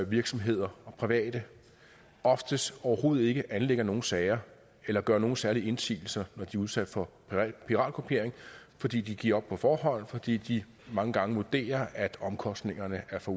virksomheder og private oftest overhovedet ikke anlægger nogen sager eller gør nogen særlige indsigelser når de er udsatte for piratkopiering fordi de giver op på forhånd og fordi de mange gange vurderer at omkostningerne er for